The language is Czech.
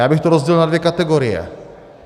Já bych to rozdělil na dvě kategorie.